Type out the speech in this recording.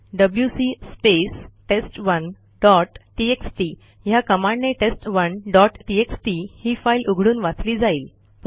WC space टेस्ट1 dot TXT ह्या कमांडने टेस्ट1 डॉट टीएक्सटी ही फाईल उघडून वाचली जाईल